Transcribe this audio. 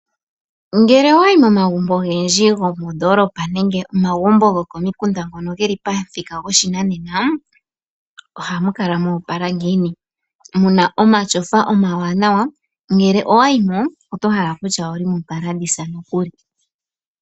Ngele owayi momagumbo ogendji gomoondoolopa nenge omagumbo gokomikunda ngono geli pomuthika goshinanena, ohamu kala mo opala ngiini? Muna omatyofa omawanawa, ngele owayi mo oto hala okutya omopaladisa nokuli.